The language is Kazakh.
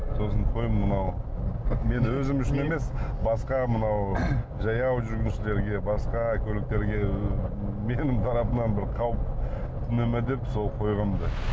сосын қой мынау мен өзім үшін емес басқа мынау жаяу жүргіншілерге басқа көліктерге менің тарапымнан бір қауіп төне ме деп сол қойғанмын да